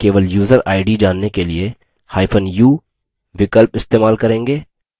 केवल user id जानने के लिए hyphen u विकल्प इस्तेमाल करेंगे